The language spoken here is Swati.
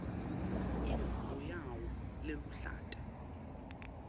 ingubo yawo leluhlata